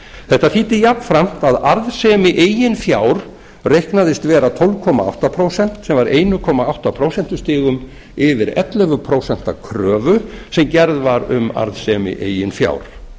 þetta þýddi jafnframt að arðsemi eigið fjár reiknaðist vera tólf komma átta prósent sem var einn komma átta prósent yfir ellefu prósent kröfu sem gerð var um arðsemi eigin fjár